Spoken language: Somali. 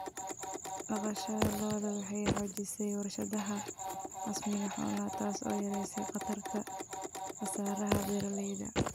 Dhaqashada lo'du waxay xoojisay warshadaha caymiska xoolaha, taas oo yaraysay khatarta khasaaraha beeralayda.